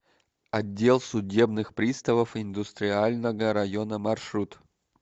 отдел судебных приставов индустриального района маршрут